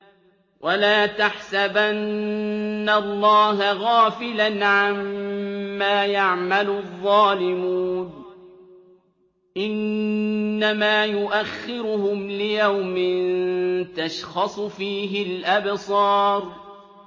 وَلَا تَحْسَبَنَّ اللَّهَ غَافِلًا عَمَّا يَعْمَلُ الظَّالِمُونَ ۚ إِنَّمَا يُؤَخِّرُهُمْ لِيَوْمٍ تَشْخَصُ فِيهِ الْأَبْصَارُ